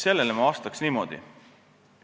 Sellele ma vastan niimoodi.